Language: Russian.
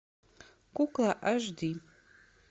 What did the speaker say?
кукла аш ди